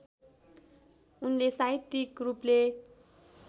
उनले साहित्यिक रूपले